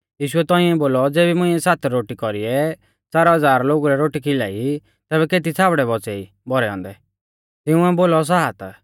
यीशुऐ तौंइऐ बोलौ ज़ेबी मुंइऐ सात रोटी कौरीऐ च़ार हज़ार लोगु लै रोटी खिलाई तेबी केती छ़ाबड़ै बौच़ै ई भौरै औन्दै तिंउऐ बोलौ सात